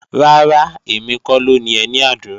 Rárá, èmi kọ́ ló ni ẹní àdúrà